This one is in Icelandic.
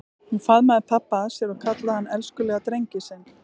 Hún faðmaði pabba að sér og kallaði hann elskulega drenginn sinn.